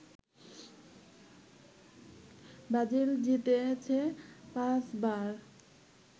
Brazil জিতেছে পাঁচবার